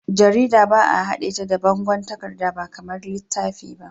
Jarida ba'a haɗe ta da bangon takarda ba kamar littafi.